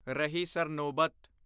ਰਹੀ ਸਰਨੋਬਤ